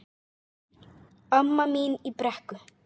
Amma mín í Brekku.